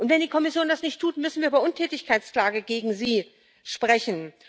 Und wenn die Kommission das nicht tut, müssen wir über eine Untätigkeitsklage gegen sie sprechen.